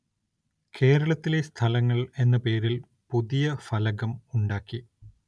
കേരളത്തിലെ സ്ഥലങ്ങള്‍ എന്ന പേരില്‍ പുതിയ ഫലകം ഉണ്ടാക്കി.